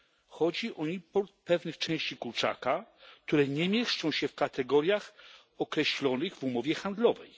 Chodzi o import pewnych części kurczaka, które nie mieszczą się w kategoriach określonych w umowie handlowej.